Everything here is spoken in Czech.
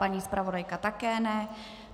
Paní zpravodajka také ne.